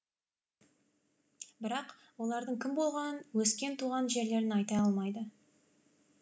бірақ олардың кім болғанын өскен туған жерлерін айта алмайды